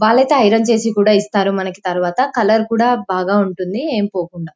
వాళ్లైతే iron చేసి కూడా ఇస్తారు మనకి తరువాతకలర్ కూడా బాగా ఉంటుంది ఏం పోకుండ.